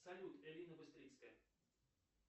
салют элина быстрицкая